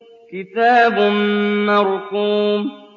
كِتَابٌ مَّرْقُومٌ